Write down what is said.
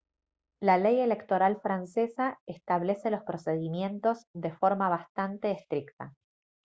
la ley electoral francesa establece los procedimientos de forma bastante estricta